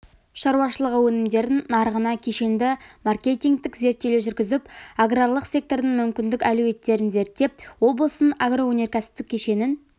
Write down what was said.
шаруашылығы өнімдерін нарығына кешенді маркетингтік зерттеулер жүргізіп аграрлық сектордың мүмкіндік әлеуеттерін зерттеп облыстың агроөнеркәсіптік кешенін